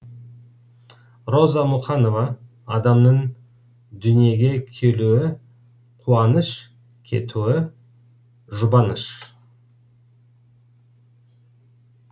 роза мұқанова адамның дүниеге келуі қуаныш кетуі жұбаныш